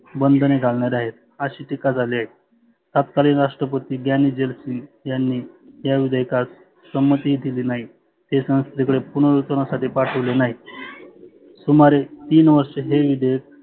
बंधने घालणारे आहे, आशी टिका झाली आहे. तातकालीन राष्ट्रपती झैल सिंग यांनी या विधेयकास सहमती दिली नाही. ते संस्थेकडे पुनर नुतनासाठी पाठवले नाही. सुमारे तीन वर्ष हे विधेयक